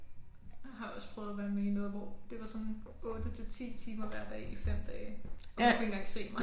Har også prøvet at være med i noget hvor det var sådan 8 til 10 timer hver dag i 5 dage og man kunne ikke engang se mig